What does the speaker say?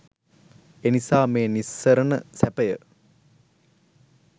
එනිසා මේ නිස්සරණ සැපය